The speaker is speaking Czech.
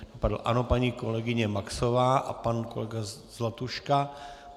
Ano, paní kolegyně Maxová a pan kolega Zlatuška.